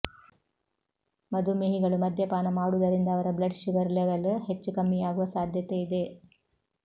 ಮಧುಮೇಹಿಗಳು ಮದ್ಯಪಾನ ಮಾಡುವುದರಿಂದ ಅವರ ಬ್ಲಡ್ ಶುಗರ್ ಲೆವೆಲ್ ಹೆಚ್ಚು ಕಮ್ಮಿಯಾಗುವ ಸಾಧ್ಯತೆಯಿದೆ